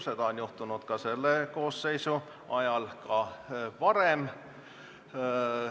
Seda on selle koosseisu ajal juhtunud ka varem.